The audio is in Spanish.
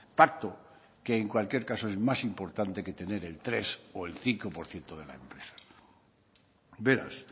pacto que en cualquier caso es más importante que tener el tres o el cinco por ciento de la empresa beraz